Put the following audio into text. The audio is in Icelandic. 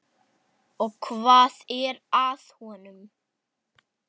Og hvað er að honum?